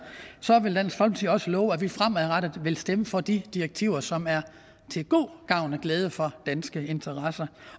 vil også love at vi fremadrettet vil stemme for de direktiver som er til god gavn og glæde for danske interesser